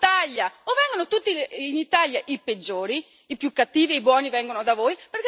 O vengono tutti in Italia, i peggiori, i più cattivi, e i buoni vengono da voi...